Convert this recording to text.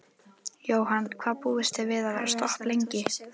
Jóhann: Hvað búist þið við að vera stopp lengi?